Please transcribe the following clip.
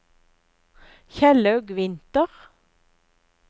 Kjellaug Winther